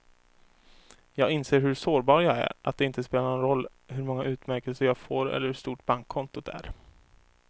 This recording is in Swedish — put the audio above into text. Jag inser hur sårbar jag är, att det inte spelar någon roll hur många utmärkelser jag får eller hur stort bankkontot är.